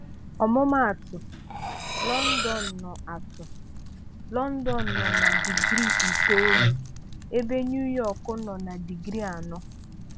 Ọmụma atụ, London nọ atụ, London nọ na digrii itoolu, ebe NuYọk nọ na digrii anọ.